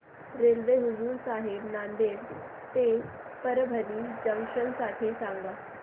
railway Hazur Sahib Nanded ते Parbhani junction साठी सांगा